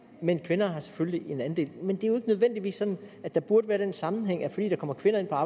men kvinderne har selvfølgelig en andel men det er jo ikke nødvendigvis sådan at der burde være den sammenhæng at fordi der kommer kvinder